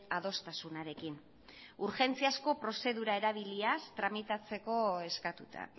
adostasunarekin urgentziazko prozedura erabiliaz tramitatzeko eskatuta